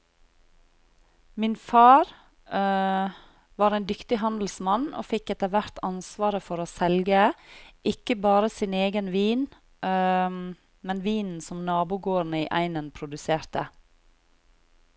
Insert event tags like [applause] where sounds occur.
Min far [hesitation] var en dyktig handelsmann og fikk etter hvert ansvaret for å selge, ikke bare sin egen vin, [hesitation] men vinen som nabogårdene i egnen produserte.